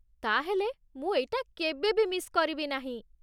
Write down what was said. ତା'ହେଲେ, ମୁଁ ଏଇଟା କେବେ ବି ମିସ୍ କରିବି ନାହିଁ ।